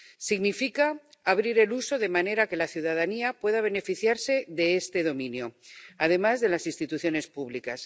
Significa abrir el uso, de manera que la ciudadanía pueda beneficiarse de este dominio, además de las instituciones públicas.